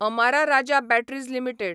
Amara Raja batteries limited